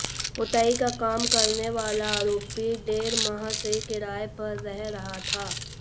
पुताई का काम करने वाला आरोपी डेढ़ माह से किराए पर रह रहा था